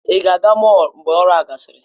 Ị ga-aga mọll mgbe ọrụ a gasịrị?